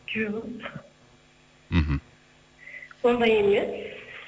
жоқ мхм ондай емес